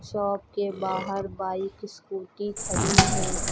Shop के बाहर bike scooty खड़ी हैं।